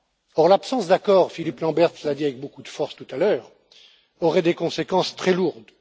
Or l'absence d'accord Philippe Lamberts l'a dit avec beaucoup de force tout à l'heure aurait des conséquences très lourdes.